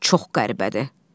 Çox qəribədir.